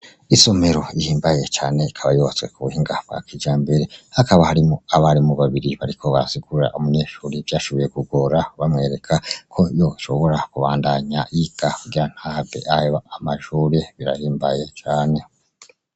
Isomero ihimbaye cane ikaba yubatse ku buhinga bwa kijambere hakaba harimo abari mu babiri bariko bazigura umunyeshuri ivyo ashobuye kugira bamwereka ko yoshobora kubandanya iga kugira ntave ayo amashure birahimbaye cane.